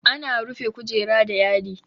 Ana rufe kujera da yadi.